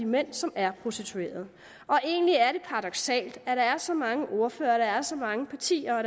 mænd som er prostituerede egentlig er det paradoksalt at der er så mange ordførere så mange partier og